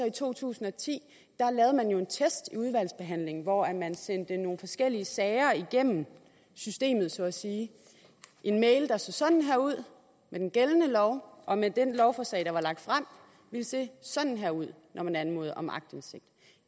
i to tusind og ti en test i udvalgsbehandlingen hvor man sendte nogle forskellige sager igennem systemet så at sige en mail der så sådan her ud med den gældende lov og som med det lovforslag der var lagt frem ville se sådan her ud når man anmodede om aktindsigt